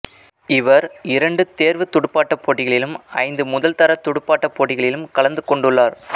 இவர் இரண்டு தேர்வுத் துடுப்பாட்டப் போட்டிகளிலும் ஐந்து முதல்தர துடுப்பாட்டப் போட்டிகளிலும் கலந்து கொண்டுள்ளார்